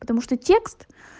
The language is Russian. потому что текст